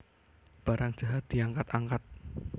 Barang jahat diangkat angkat